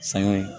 Sangare